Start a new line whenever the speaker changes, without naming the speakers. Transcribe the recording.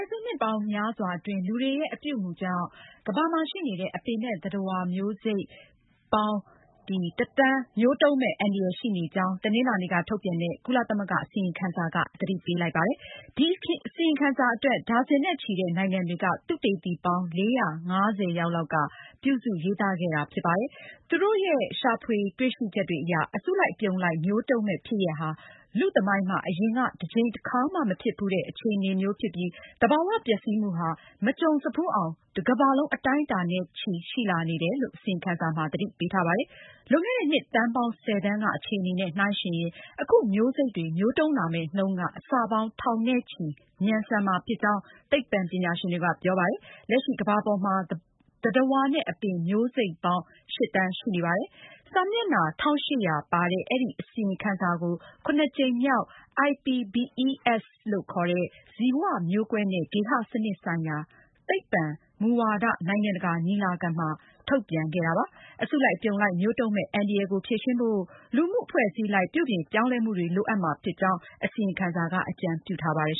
စုနှစ်ပေါင်းများစွာအတွင်း လူတွေရဲ့ အပြုအမူကြောင့် ကမ္ဘာမှာရှိနေတဲ့ အပင်နဲ့ သတ္တဝါ မျိုးစိတ် ပေါင်း ၁ သန်း မျိုးတုန်းမယ့် အန္တရာယ်ရှိနေကြောင်း တနင်္လာနေ့က ထုတ်ပြန်တဲ့ ကုလသမဂ္ဂအစီရင်ခံစာက သတိပေးလိုက်ပါတယ်။ ဒီအစီရင်ခံစာအတွက် ဒါဇင်နဲ့ချီတဲ့ နိုင်ငံတွေက သုတေသီပေါင်း ၄၅၀ ယောက်က ပြုစုရေးသားခဲ့တာဖြစ်တယ်လို့ ဆိုပါတယ်။ သူတို့ရဲ့ ရှာဖွေတွေ့ရှိချက်အရ အစုလိုက်အပြုံလိုက် မျိုးတုန်းမယ့် ဖြစ်ရပ်ဟာ လူ့သမိုင်းမှာ အရင်က တကြိမ်တခါမှ မဖြစ်ဘူးတဲ့ အခြေအနေမျိုး ဖြစ်ပြီး၊ သဘာ၀ ပျက်စီးမှုဟာ မကြုံစဖူးအောင် တကမ္ဘာလုံးအတိုင်းအတာ နဲ့ချီ ရှိလာနေတယ်လို့ အစီရင်ခံစာမှာ သတိပေးထားပါတယ်။ လွန်ခဲ့တဲ့ နှစ်သန်းပေါင်း ၁၀သန်းက အခြေအနေနဲ့ နှိုင်းယှဉ်ရင် အခု မျိုးစိတ်တွေ မျိုးတုန်းလာမယ့်နှုန်းက အဆပေါင်း ထောင်နဲ့ချီ မြန်ဆန်မှာဖြစ်ကြောင်း သိပ္ပံပညာရှင်တွေ က ပြောပါတယ်။ လက်ရှိကမ္ဘာပေါ်မှာ သတ္တဝါနဲ့ အပင် မျိုးစိတ်ပေါင်း ၈ သန်းရှိနေပါတယ်။ စာမျက်နှာ ၁,၈၀၀ ပါတဲ့ အဲဒီအစီရင်ခံစာကို (၇)ကြိမ်မြောက် IPBES ဇီဝမျိုးကွဲနဲ့ ဂေဟစနစ်ဆိုင်ရာ သိပ္ပံဆိုင်ရာ မူဝါဒ နိုင်ငံတကာညီလာခံမှာ ထုတ်ပြန်ခဲ့တာဖြစ်ပါတယ်။ အစုလိုက်အပြုံလိုက်မျိုးတုန်းမယ့် အန္တရာယ်ကို ဖြေရှင်းဖို့ လူမှုအဖွဲ့အစည်းအလိုက် ပြုပြင်ပြောင်းလဲမှုတွေ လိုအပ်မှာဖြစ်ကြောင်း အစီရင်ခံစာမှာ အကြံပြုထားပါတယ်